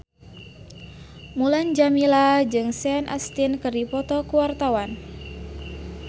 Mulan Jameela jeung Sean Astin keur dipoto ku wartawan